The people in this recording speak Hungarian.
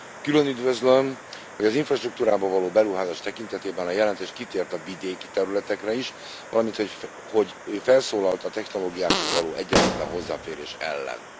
Külön üdvözlöm, hogy az infrastruktúrába való beruházás tekintetében a jelentés kitért a vidéki területekre is, valamint, hogy felszólalt a technológiákhoz való egyenlőtlen hozzáférés ellen.